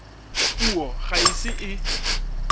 puso ga e ise e